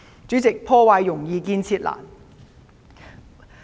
主席，破壞容易，建設難。